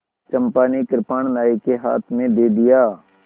चंपा ने कृपाण नायक के हाथ में दे दिया